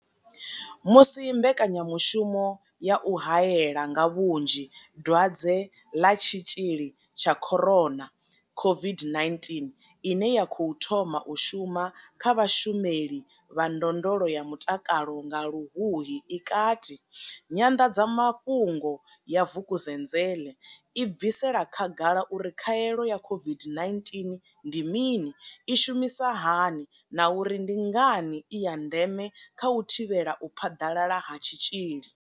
Musi mbekanya mushumo ya u hae la nga vhunzhi Dwadze ḽa Tshitzhili tsha corona COVID-19 ine ya khou thoma u shuma kha vhashumeli vha ndondolo ya mutakalo nga Luhuhi i kati, Nyanḓadzamafhungo ya Vukezenzele i bvisela khagala uri khaelo ya COVID-19 ndi mini, i shumisa hani na uri ndi ngani i ya ndeme kha u thivhela u phaḓalala ha tshitzhili.